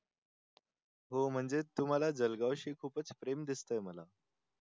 हो म्हणजे तुम्हाला जळगाव शी खूपच प्रेम दिसतंय मला